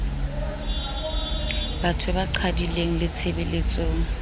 bathong ba qhwadileng le tshebeletsong